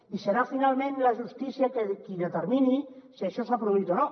i serà finalment la justícia qui determini si això s’ha produït o no